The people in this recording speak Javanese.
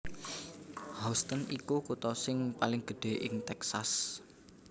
Houston iku kutha sing paling gedhé ing Texas